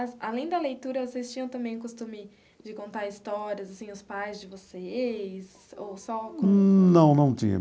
Além da leitura, vocês tinham também costume de contar histórias, assim, os pais de vocês, ou só... Não, não tinha.